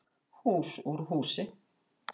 Hús úr húsi